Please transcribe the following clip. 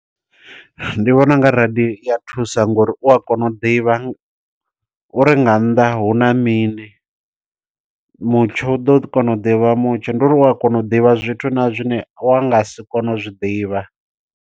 Ndi vhona u nga radio i ya thusa ngo uri u a kona u ḓivha, uri nga nnḓa hu na mini. Mutsho u ḓo ḓi kona u ḓivha mutsho. Ndi uri u a kona u ḓivha zwithu na zwine wa nga si kone u zwiḓivha.